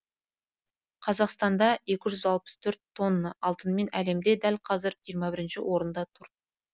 қазақстан екі жүз алпыс төрт тонна алтынымен әлемде дәл қазір жиырма бірінші орында тұр